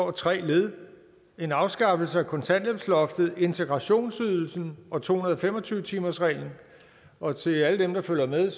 af tre led en afskaffelse af kontanthjælpsloftet integrationsydelsen og to hundrede og fem og tyve timersreglen og til alle dem der følger med